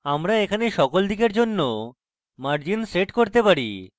আমরা এখানে সকল দিকের জন্য margins set করতে পারি